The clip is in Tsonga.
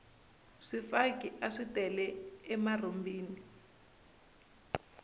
swifaki aswi tele emarhumbini